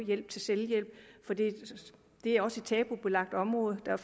hjælp til selvhjælp det er også et tabubelagt område der er